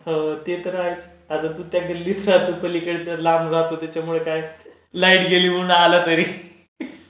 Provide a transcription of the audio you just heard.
हो ते तर आहेच. आता तू त्या गल्लीत राहतो पलीकडच्या लांब राहतो त्याच्यामुळे काय? लाईट गेली म्हणून आला तरी.